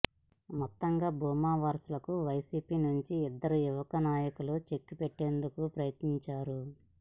మొత్తంగా భూమా వారసులకు వైసీపీ నుంచి ఇద్దరు యువ నాయకులు చెక్ పెట్టేందుకు ప్రయత్నించారు